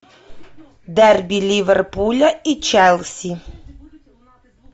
дерби ливерпуля и челси